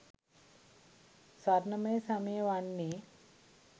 ස්වර්ණමය සමය වන්නේ